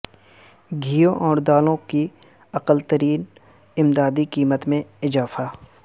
گیہوں اور دالوں کی اقل ترین امدادی قیمت میں اضافہ